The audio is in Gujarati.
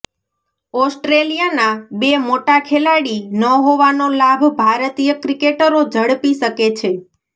ઓસ્ટ્રેલિયાના બે મોટા ખેલાડી ન હોવાનો લાભ ભારતીય ક્રિકેટરો ઝડપી શકે છે